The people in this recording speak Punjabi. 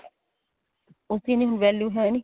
ਉੱਥੇ ਇੰਨੀ value ਹੈਨੀ